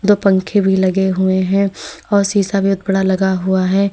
और पंखे भी लगे हुए हैं और शीशा भी एक बड़ा लगा हुआ है।